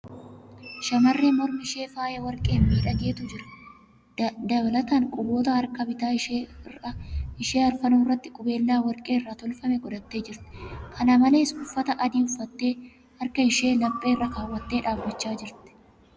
Shamarree mormi ishee faaya warqeen miidhagdetu jira. Dalataan, quboota harka bitaa ishee arfanuu irratti qubeellaa warqee irraa tolfame godhattee jirti. Kana malees, uffata adii uffattee harka ishee laphee irra kaawwattee dhaabachaa jirti.